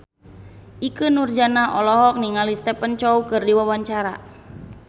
Ikke Nurjanah olohok ningali Stephen Chow keur diwawancara